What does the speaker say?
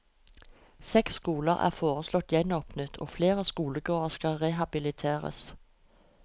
Seks skoler er foreslått gjenåpnet og flere skolegårder skal rehabiliteres.